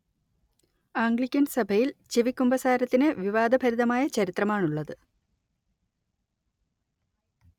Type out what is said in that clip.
Anglican സഭയിൽ ചെവിക്കുമ്പസാരത്തിന് വിവാദഭരിതമായ ചരിത്രമാണുള്ളത്